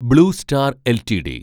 blue star LTD